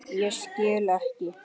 Ég skil ekki.